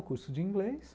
O curso de inglês.